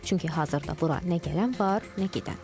Çünki hazırda bura nə gələn var, nə gedən.